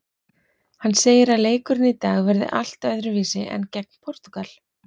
Hann segir að leikurinn í dag verði allt öðruvísi en gegn Portúgal.